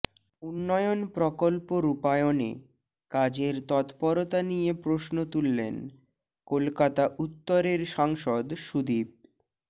উন্নয়ন প্রকল্প রূপায়ণে কাজের তৎপরতা নিয়ে প্রশ্ন তুললেন কলকাতা উত্তরের সাংসদ সুদীপ